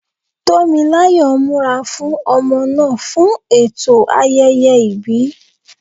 Tó mi láyọ̀ ń múra fún ọmọ náà fún ẹ̀tọ́ ayẹyẹ ìbí.